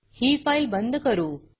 ही file बंद करू